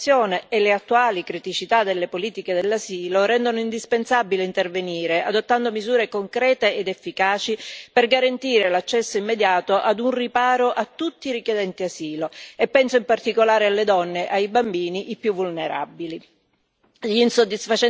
L'estrema serietà della situazione e le attuali criticità delle politiche dell'asilo rendono indispensabile intervenire adottando misure concrete ed efficaci per garantire l'accesso immediato ad un riparo a tutti i richiedenti asilo, e penso in particolare alle donne e ai bambini, i più vulnerabili.